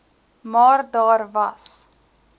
maar daar was